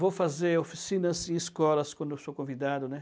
Vou fazer oficinas e escolas quando eu sou convidado, né?